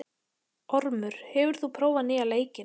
Ormur, hefur þú prófað nýja leikinn?